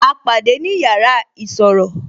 A pàdé ni yàrá isọ̀rọ̀